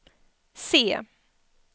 C